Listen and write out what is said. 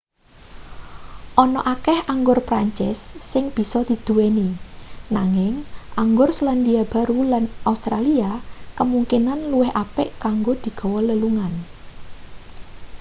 ana akeh anggur prancis sing bisa diduweni nanging anggur selandia baru lan australia kemungkinan luwih apik kanggo digawa lelungan